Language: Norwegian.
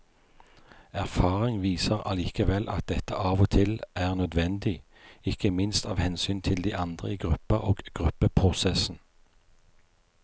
Erfaring viser allikevel at dette av og til er nødvendig, ikke minst av hensyn til de andre i gruppa og gruppeprosessen.